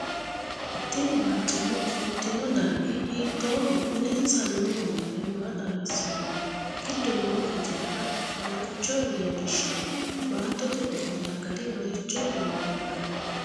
TIni barcimma ofoltinno darggi hiitooho mulensa noo wonbare maa xawisanno giddo noo hijaari maricho leelishano baattote ofolla gari maricho lawannohe